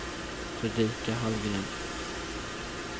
Fredrika Hallgren